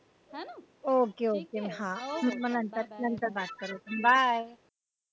okay okay हा मग नंतर नंतर करू bye